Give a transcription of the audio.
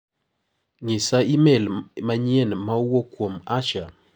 Ng'isaimel manyien ma owuok kuom Asha.